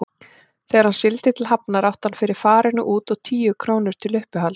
Þegar hann sigldi til Hafnar átti hann fyrir farinu út og tíu krónur til uppihalds.